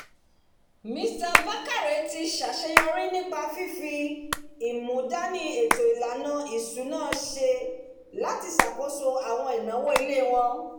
mr bakare ti ṣàṣeyọrí ní fífi ìmúdàní ètò ìlànà iṣúná ṣe láti ṣàkóso àwọn ináwó ilé wọn